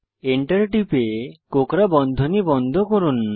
enter টিপে কোঁকড়া বন্ধনী বন্ধ করুন